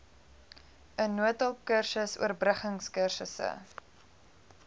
n noodhulpkursus oorbruggingkursusse